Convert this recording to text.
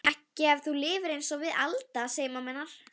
Amal, hvernig er veðrið úti?